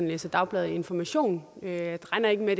læser dagbladet information jeg regner ikke med